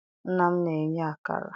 Nna m na-eye akara.